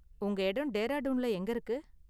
உங்க இடம் டேராடூன்ல எங்க இருக்கு?